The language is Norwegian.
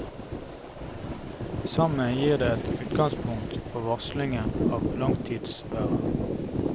Sammen gir det et utgangspunkt for varslingen av langtidsværet.